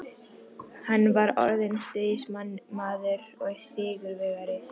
Hann var orðinn stríðsmaður og sigurvegari.